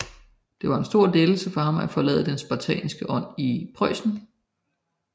Det var en stor lettelse for ham at forlade den spartanske ånd i Preussen